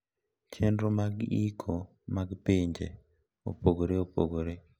Chenro mag iko mag pinje opogore opogore.